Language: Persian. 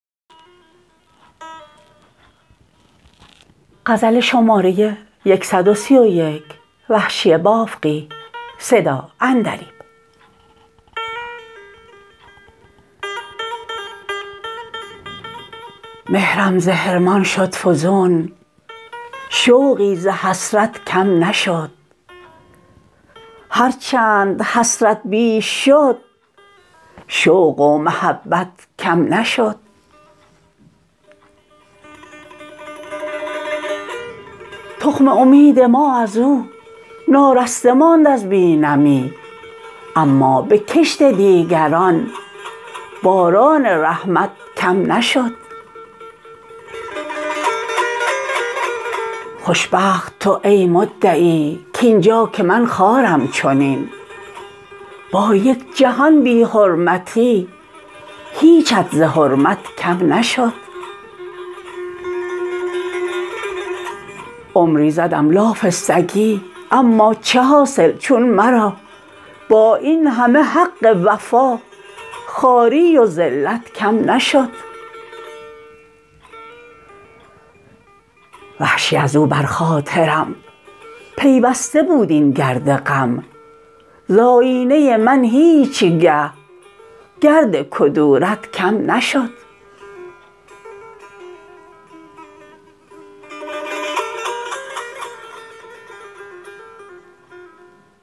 مهرم ز حرمان شد فزون شوقی ز حسرت کم نشد هر چند حسرت بیش شد شوق و محبت کم نشد تخم امید ما از و نارسته ماند از بی نمی اما به کشت دیگران باران رحمت کم نشد خوش بخت تو ای مدعی کاینجا که من خوارم چنین با یک جهان بی حرمتی هیچت ز حرمت کم نشد عمری زدم لاف سگی اما چه حاصل چون مرا با اینهمه حق وفا خواری و ذلت کم نشد وحشی از و بر خاطرم پیوسته بود این گرد غم ز آیینه من هیچگه گرد کدورت کم نشد